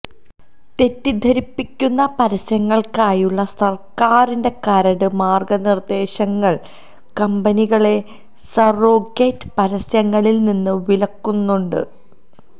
തെറ്റിദ്ധരിപ്പിക്കുന്ന പരസ്യങ്ങൾക്കായുള്ള സർക്കാരിന്റെ കരട് മാർഗ്ഗനിർദ്ദേശങ്ങൾ കമ്പനികളെ സറോഗേറ്റ് പരസ്യങ്ങളില് നിന്ന് വിലക്കുന്നുണ്ട്